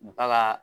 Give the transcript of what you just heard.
Baga